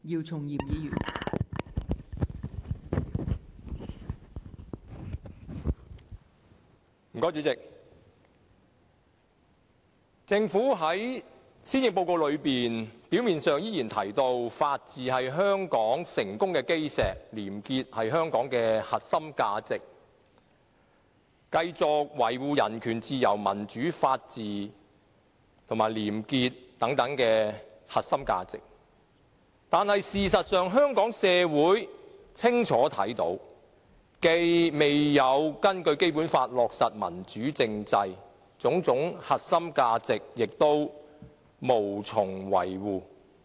代理主席，在施政報告中，政府表面上依然提到法治是香港成功的基石，廉潔是香港的核心價值，會繼續維護人權、自由、民主、法治和廉潔等核心價值，但事實上，香港社會清楚看到，政府既未有根據《基本法》落實民主政制，對種種核心價值亦無從維護。